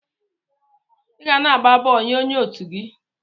Iga na agba bọọlụ nye onye otu gi.